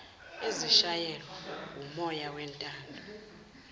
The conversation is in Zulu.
ezishayelwa wumoya wentando